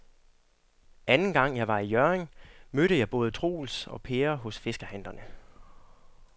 Anden gang jeg var i Hjørring, mødte jeg både Troels og Per hos fiskehandlerne.